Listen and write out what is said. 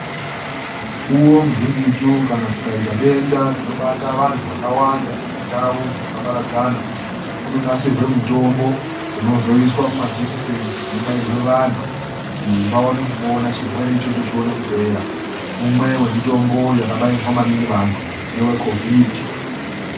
Mukuwo muzhinjitu kana kukaita denda rinobata vantu wakawanda nendau dzakaparadzana, kunonasirwa mutombo unozoiswa mumajekiseni kuti ubairwe vantu kuti vaone kupona kuti chirwere ichocho chione kupera. Umwe yemitombo yakabairwa maningi antu ngewe kovhidhi.